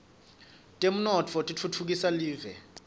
temnotfo titfutfukisa live